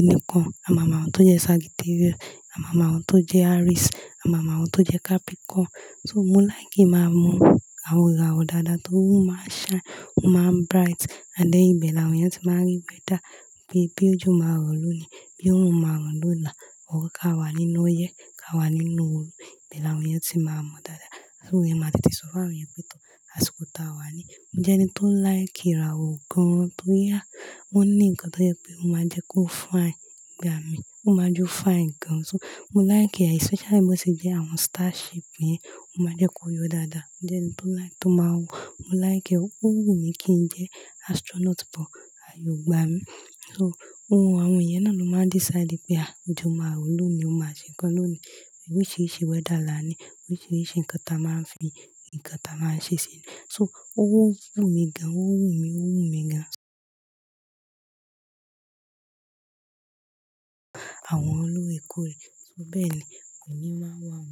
unicorn, à ma mọ àwọn tó jẹ́ Sagittarius, à ma mọ àwọn tó jẹ́ Aries, à ma mọ àwọn tó jẹ́ Capricorn. So mo like kin máa mọ àwọn ìràwọ̀ dáadáa tóri o máa n shine, ó máa ń bright, ànd then ibẹ̀ l'àwọn eyan ti máa ń rí weather, bii pe ojo máa rò lónìí, bí òrún máa rò lọ́là, or ká wà nínú ọyẹ́, ká wà nínú ooru, ibẹ̀ l'àwọn eyan ti máa mọ dáadáa. So iyẹn máa tètè sọ fún àwọn yẹn pé, tò, àsìkò ta wà ní. Mo jẹ́ ẹni tó like ìràwọ̀ gan-an, tó yá. Wọ́n ní nǹkan tó jẹ́ pé o máa n jẹ́ kó fine gbà mí, ó máa jẹ́ o fine gan. So mo like ẹ, especially bí ó ṣe jẹ́ àwọn star ship yẹn, ó máa jẹ́ kó yọ dáadáa. Mo jẹ́ ẹni tó like, tó máa wo, mo like ẹ. Ó wù mí kí ń jẹ́ astronaut but, àye ò gbà mí. So òún àwọn iyẹn náà ló máa n decide pé, ah ojó maa rò lónìí, ó máa ṣe nǹkan lónìí. Oríṣiríṣi weather la ní, oríṣiríṣi nǹkan ta máa ń fi, nǹkan ta máa ń ṣe ṣe ni. So ó wù mí gan, ó wù mí, ó wù mí gan. Àwọn olóorekoore So bẹ́ẹ̀ ni, òun mi máa wá.